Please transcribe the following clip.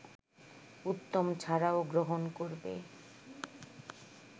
উত্তম ছাড়াও গ্রহণ করবে